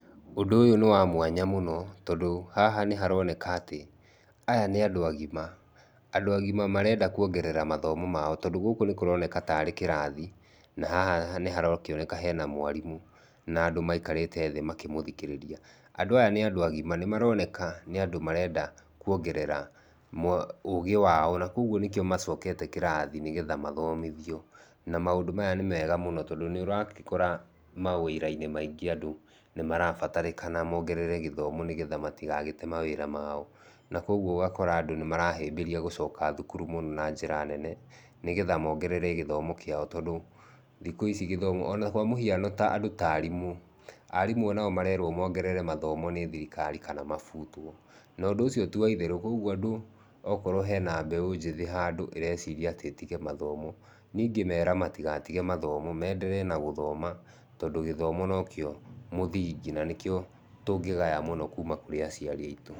Ũndũ ũyũ nĩ wa mwanya mũno tondũ haha nĩharoneka atĩ aya nĩ andũ agima, andũ agima marenda kũongerera mathomo mao tondũ gũkũ nĩkũroneka tarĩ kĩrathi, na haha nĩharakĩoneka hena mwarimũ na andũ maikarĩte thĩ makĩmũthikĩrĩria. Andũ aya nĩ andũ agima, nĩ maroneka nĩ andũ marenda kũongerera ũgĩ wao na kogũo nĩkĩo macokete kĩrathi nĩgetha mathomithio. Na maũndũ maya nĩmega tondũ nĩũrakora mawĩra-inĩ maingĩ andũ nĩmarabatarĩkana mongerere gĩthomo nĩgetha matĩgagĩte mawĩra mao na kogũo ũgakora andũ nĩmarahĩmbĩria gũcoka thukuru mũno na njĩra nene, nĩgetha mongerere gĩthomo kiao tondũ thikũ ici gĩthomo ona kwa mũhiano andũ ta arimũ, arĩmũ nao marerwo mongerere mathomo nĩ thirikari kana mabutwo. Na ũndũ ũcio ti wa itherũ kogũo andũ okorwo hena mbeũ njĩthĩ handũ ĩreciria atĩ ĩtige mathomo, nĩe ingĩmera matigatige mathomo menderee na gũthoma tondũ gĩthomo nokĩo mũthingi na nĩkio tũngĩgaya mũno kuuma kũrĩ aciari aitu.